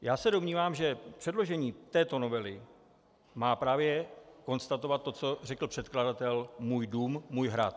Já se domnívám, že předložení této novely má právě konstatovat to, co řekl předkladatel: můj dům, můj hrad.